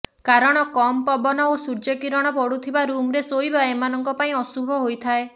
କାରଣ କମ୍ ପବନ ଓ ସୂର୍ଯ୍ୟ କିରଣ ପଡ଼ୁଥିବା ରୁମ୍ରେ ଶୋଇବା ଏମାନଙ୍କ ପାଇଁ ଅଶୁଭ ହୋଇଥାଏ